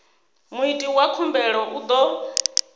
muiti wa khumbelo u ḓo